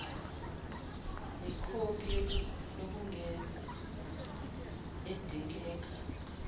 nekhophi yokwengeza edingeka